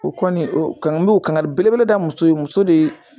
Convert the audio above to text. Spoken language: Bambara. O kɔni o kanu n b'o kangari belebele da muso ye muso de ye